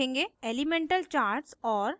elemental charts और